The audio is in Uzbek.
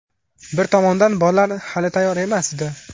Bir tomondan bollar hali tayyor emasdi.